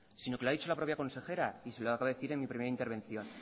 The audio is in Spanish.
sino que lo ha dicho la propia consejera y se lo acabo de decir en mi primera intervención